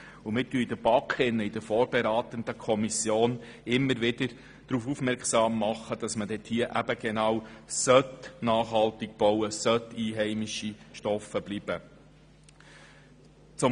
In der BaK, der vorberatenden Kommission, machen wir immer darauf aufmerksam, dass nachhaltig gebaut und einheimische Rohstoffe verwendet werden sollen.